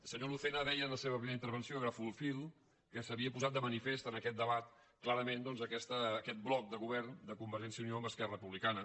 el senyor lucena deia en la seva primera intervenció li agafo el fil que s’havia posat de manifest en aquest debat clarament doncs aquest bloc de govern de convergència i unió amb esquerra republicana